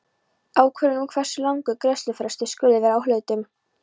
ákvörðun um hversu langur greiðslufrestur skuli vera á hlutum.